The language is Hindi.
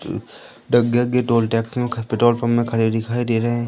की टोल टैक्स पेट्रोल पंप में खड़े दिखाई दे रहे--